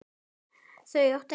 Þau áttu ekkert.